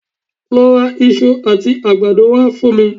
Lọ ra iṣu àti àgbàdo wá fún mi